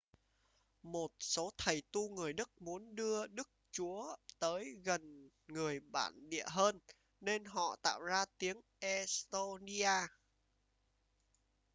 một số thầy tu người đức muốn đưa đức chúa tới gần người bản địa hơn nên họ tạo ra tiếng e-xtô-ni-a